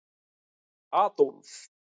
Adólf